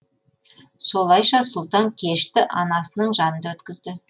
солайша сұлтан кешті анасының жанында өткізді